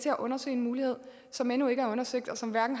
at undersøge en mulighed som endnu ikke er undersøgt og som hverken